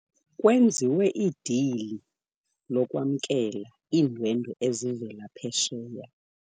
Kwenziwe idili lokwamkela iindwendwe ezivela phesheya.